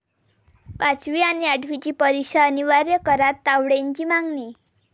पाचवी आणि आठवीची परीक्षा अनिवार्य करा, तावडेंची मागणी